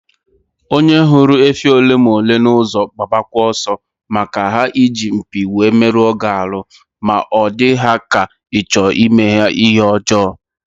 Onye hụrụ efi ole ma ole na ụzọ gbabakwa ọsọ, maka ha iji mpi wee meluo gị arụ ma ọ dị ha ka ịchọ ime ha ihe ọjọọ